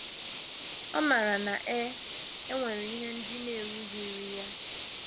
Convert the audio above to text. Ọ maara na e e nwere ihe ndị na - erughịrị ya.